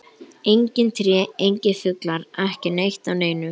Engin tré, engir fuglar, ekki neitt af neinu.